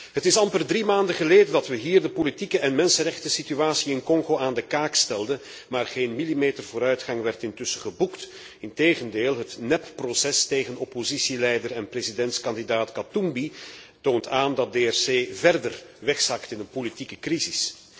Het is amper drie maanden geleden dat we hier de politieke en mensenrechtensituatie in Congo aan de kaak stelden, maar geen millimeter vooruitgang werd intussen geboekt. Integendeel, het nepproces tegen oppositieleider en presidentskandidaat Katumbi toont aan dat DRC verder wegzakt in een politieke crisis.